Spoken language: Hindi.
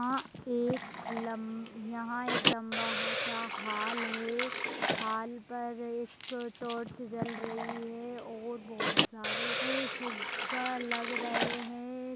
आ एक लम यहाँ एक लम्बा हा सा हाल है। हाल पर एक टॉर्च जल रही है और बहोत सारे ए फुग्गा लग रहे हैं।